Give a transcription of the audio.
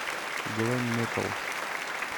глэм метал